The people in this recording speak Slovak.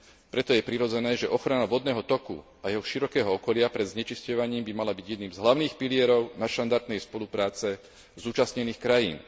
Preto je prirodzené, že ochrana vodného toku a jeho širokého okolia pred znečisťovaním by mala byť jedným z hlavných pilierov nadštandardnej spolupráce zúčastnených krajín.